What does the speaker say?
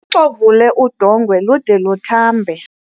xovule udongwe lude luthambe